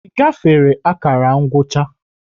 Ị gafere akara ngwụcha?